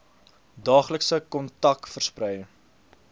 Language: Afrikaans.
daaglikse kontak versprei